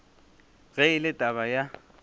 ge e le taba ya